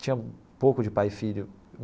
Tinha pouco de pai e filho.